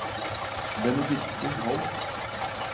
Benedikte Holth